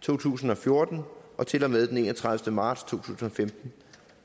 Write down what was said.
to tusind og fjorten til og med enogtredivete marts to tusind og femten